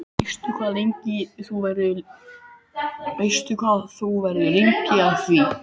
Veistu hvað þú verður lengi að því?